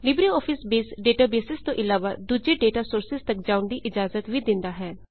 Libre office base databases ਤੋਂ ਅਲਾਵਾ ਦੂਜੇ ਡੇਟਾ ਸੋਰਸਿਜ਼ ਤੱਕ ਜਾਉਣ ਦੀ ਇਜਾਜ਼ਤ ਵੀ ਦਿੰਦਾ ਹੈ